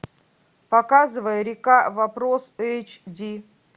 показывай река вопрос эйч ди